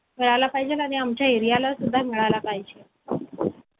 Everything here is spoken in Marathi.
मद्रास राज्यातील रामेश्वर या छोट्या बेटासारख्या गावात एक मध्यवर्गीय तामिळ कुटुंबात माझा जन्म झाला.